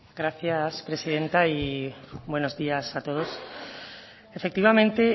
gracias presidenta y buenos días a todos efectivamente